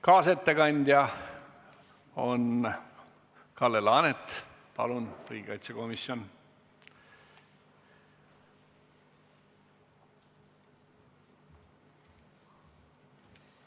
Kaasettekandja on Kalle Laanet riigikaitsekomisjonist.